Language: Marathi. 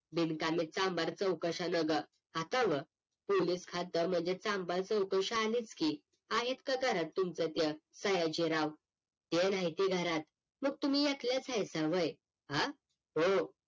बिनकामी चांभार चौकशा नग आता व पोलीस खात म्हणजे चांभार चौकशा आल्याच की आहेत का घरात तुमच त्या सायजी राव ते नाही की घरात मग तुम्ही ऐकल्याच आहेत काय व्हय हां हो